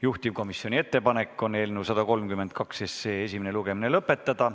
Juhtivkomisjoni ettepanek on eelnõu 132 esimene lugemine lõpetada.